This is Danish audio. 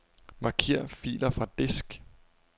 Marker filer fra disk.